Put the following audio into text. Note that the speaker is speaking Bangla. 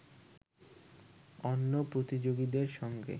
অন্য প্রতিযোগীদের সঙ্গে